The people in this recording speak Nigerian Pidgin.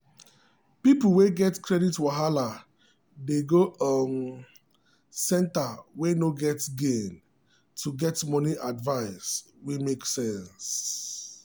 people wey get credit wahala dey go um centre way no get gain to get money advice wey make sense.